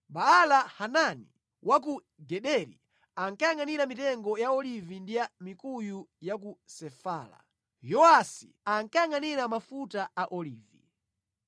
Baala-Hanani wa ku Gederi ankayangʼanira mitengo ya olivi ndi ya mikuyu ya ku Sefela. Yowasi ankayangʼanira mafuta a Olivi.